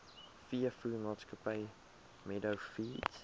veevoermaatskappy meadow feeds